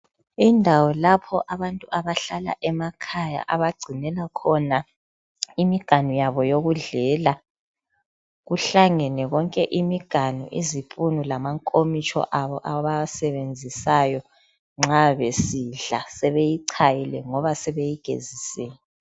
Indawo lapha abantu abahlala emakhaya abagcinela khona imiganu yabo yokudlela .Kuhlangene konke imiganu, izipunu lamankomitsho abo abawasebenzisayo nxa besidla. Sebeyichayile ngoba sebeyigezisile.